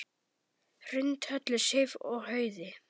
Hrund, Höllu Sif og Hauði.